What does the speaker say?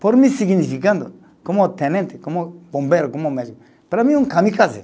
Por mim, significando, como tenente, como bombeiro, como médico, para mim é um kamikaze.